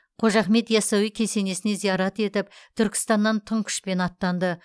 қожа ахмет ясауи кесенесіне зиярат етіп түркістаннан тың күшпен аттанды